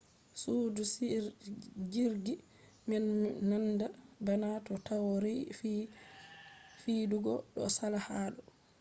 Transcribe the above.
sudu jirgi man nandan bana to taurari je fidugo do sala ha do